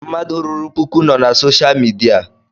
Mmadụ ruru pụkụ nọ na soshal midia